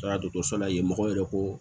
Taara dɔkɔtɔrɔso la yen mɔgɔw yɛrɛ ko